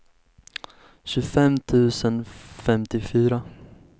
tjugofem tusen femtiofyra